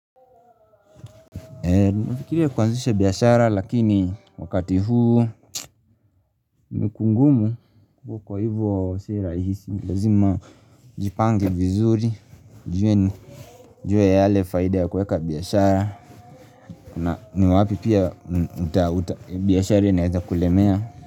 Nafikiria kuanzisha biashara lakini wakati huu imekuwa ngumu ivo kwa hivyo si rahisi. Lazima jipangi vizuri jua yale faida ya kuweka biashara na ni wapi pia biashara inaweza kulemea.